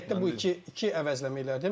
Yəni bu heyətdə bu iki əvəzləməyi elədim.